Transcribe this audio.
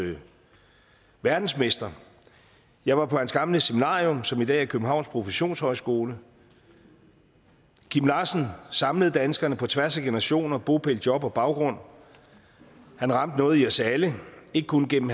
verdensmestre jeg var på hans gamle seminarium som i dag er københavns professionshøjskole kim larsen samlede danskerne på tværs af generationer bopæl job og baggrund han ramte noget i os alle ikke kun gennem